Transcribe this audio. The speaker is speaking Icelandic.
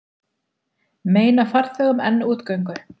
Meina farþegum enn útgöngu